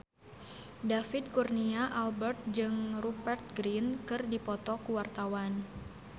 David Kurnia Albert jeung Rupert Grin keur dipoto ku wartawan